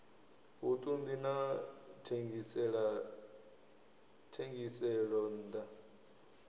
vhuṱun ḓi na thengiselonn ḓa